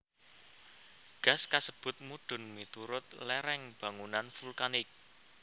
Gas kasebut mudhun miturut lereng bangunan vulkanik